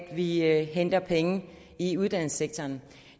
at vi henter penge i uddannelsessektoren